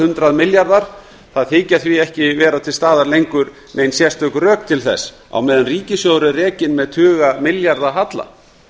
þykja milljarðar það þykja því ekki vera til staðar lengur nein sérstök rök til þess á meðan ríkissjóður er rekinn með tuga milljarða halla